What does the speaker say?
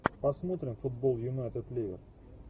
посмотрим футбол юнайтед ливер